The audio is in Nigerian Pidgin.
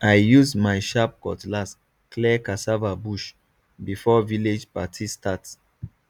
i use my sharp cutlass clear cassava bush before village party start